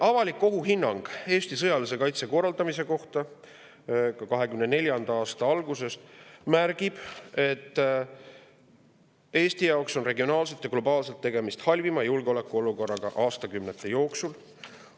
Avalik ohuhinnang Eesti sõjalise kaitse korraldamise kohta 2024. aasta algusest märgib, et Eesti jaoks on regionaalselt ja globaalselt tegemist halvima julgeolekuolukorraga aastakümnete jooksul.